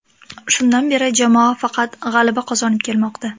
Shundan beri jamoa faqat g‘alaba qozonib kelmoqda.